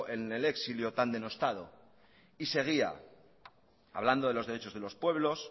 en el exilio tan denostado y seguía hablando de los derechos de los pueblos